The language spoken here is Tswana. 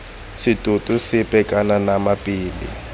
setoto sepe kana nama pele